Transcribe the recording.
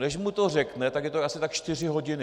Než mu to řekne, tak je to asi tak čtyři hodiny.